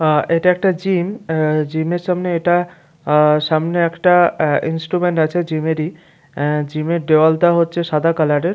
আ এটা একটা জিম আ জিমের সামনে এটা আ সামনে একটা আ ইনস্ট্রুমেন্ট আছে জিমের -ই অ্যা জিমের দেয়ালটা হচ্ছে সাদা কালারের ।